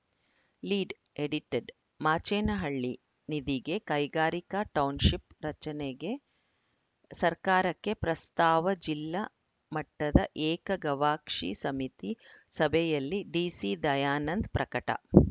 lead edited Machenahalli ನಿಧಿಗೆ ಕೈಗಾರಿಕಾ township ರಚನೆಗೆ ಸರ್ಕಾರಕ್ಕೆ ಪ್ರಸ್ತಾವ ಜಿಲ್ಲಾ ಮಟ್ಟದ ಏಕ ಗವಾಕ್ಷಿ ಸಮಿತಿ ಸಭೆಯಲ್ಲಿ ಡಿಸಿ ದಯಾನಂದ ಪ್ರಕಟ